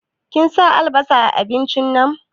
Kin sa albasa a abincin nan?